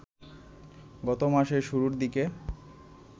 গত মাসের শুরুর দিকে